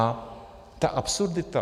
A ta absurdita.